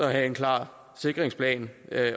være en klar sikringsplan